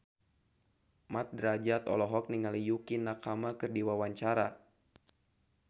Mat Drajat olohok ningali Yukie Nakama keur diwawancara